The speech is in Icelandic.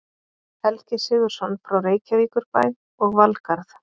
Helgi Sigurðsson frá Reykjavíkurbæ og Valgarð